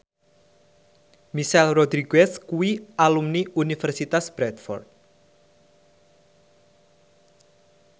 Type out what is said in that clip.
Michelle Rodriguez kuwi alumni Universitas Bradford